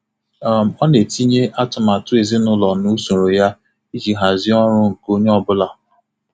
Ọ um na-etinye atụmatụ ezinụlọ na usoro ya iji hazie ọrụ nke onye ọ bụla.